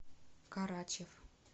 карачев